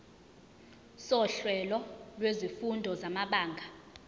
sohlelo lwezifundo samabanga